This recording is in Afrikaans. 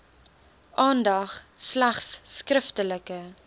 aandag slegs skriftelike